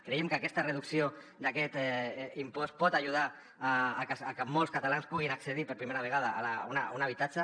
creiem que aquesta reducció d’aquest impost pot ajudar a que molts catalans puguin accedir per primera vegada a un habitatge